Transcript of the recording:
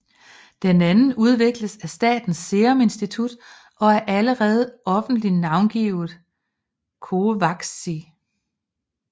Den anden udvikles af Statens Serum Institut og er allerede offentlig navngivet CoVAXIX